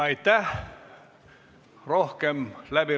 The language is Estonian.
Aitäh!